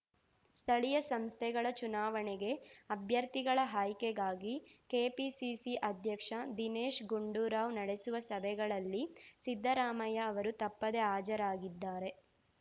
ಸ್ಥಳೀಯ ಸಂಸ್ಥೆಗಳ ಚುನಾವಣೆಗೆ ಅಭ್ಯರ್ಥಿಗಳ ಆಯ್ಕೆಗಾಗಿ ಕೆಪಿಸಿಸಿ ಅಧ್ಯಕ್ಷ ದಿನೇಶ್‌ ಗುಂಡೂರಾವ್‌ ನಡೆಸುವ ಸಭೆಗಳಲ್ಲಿ ಸಿದ್ದರಾಮಯ್ಯ ಅವರು ತಪ್ಪದೇ ಹಾಜರಾಗಿದ್ದಾರೆ